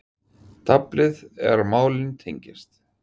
Talið er að málin tengist